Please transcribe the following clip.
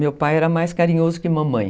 Meu pai era mais carinhoso que mamãe.